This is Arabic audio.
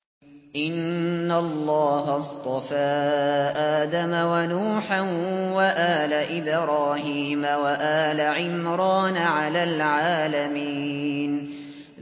۞ إِنَّ اللَّهَ اصْطَفَىٰ آدَمَ وَنُوحًا وَآلَ إِبْرَاهِيمَ وَآلَ عِمْرَانَ عَلَى الْعَالَمِينَ